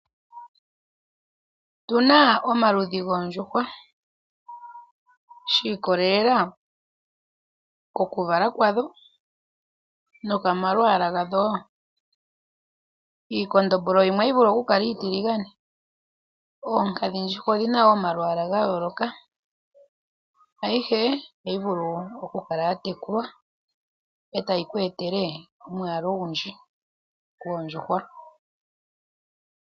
Otuna omaludhi goondjuhwa shi ikolelela kokuvala kwadho nokomalwaala gadho. Iikondombolo yimwe ohayi vulu okukala iitiligane oonkadhindjuhwa odhina wo omalwaala gayooloka, ayihe ohayi vulu okukala ya tekulwa e tayi ku etele omwaalu ogundji gwoondjuhwa.